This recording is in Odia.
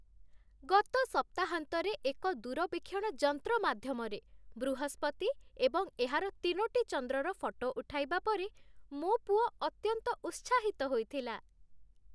ଗତ ସପ୍ତାହାନ୍ତରେ ଏକ ଦୂରବୀକ୍ଷଣ ଯନ୍ତ୍ର ମାଧ୍ୟମରେ ବୃହସ୍ପତି ଏବଂ ଏହାର ତିନୋଟି ଚନ୍ଦ୍ରର ଫଟୋ ଉଠାଇବା ପରେ ମୋ ପୁଅ ଅତ୍ୟନ୍ତ ଉତ୍ସାହିତ ହୋଇଥିଲା।